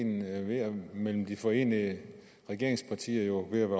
enigheden mellem de forenede regeringspartier jo ved at